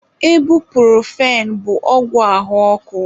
Ebupurofen bụ ọgwụ ahụ ọkụ.